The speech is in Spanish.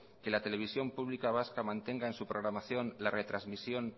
que la televisión pública vasca mantenga en su programación la retrasmisión